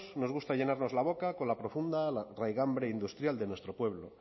nos gusta llenarnos la boca con la profunda raigambre industrial de nuestro pueblo